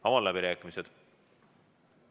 Avan läbirääkimised.